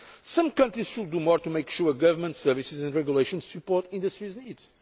level. Some countries should do more to ensure that government services and regulations support industry's